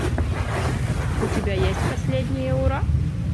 у тебя есть последние ура